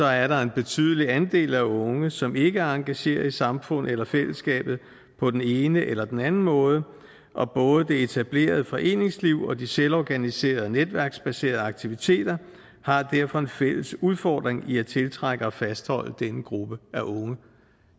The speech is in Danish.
er der en betydelig andel af unge som ikke engagerer sig i samfundet eller fællesskabet på den ene eller den anden måde og både det etablerede foreningsliv og de selvorganiserede netværksbaserede aktiviteter har derfor en fælles udfordring i at tiltrække og fastholde denne gruppe af unge